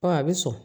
a bɛ sɔn